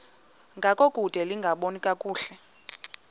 ngangokude lingaboni kakuhle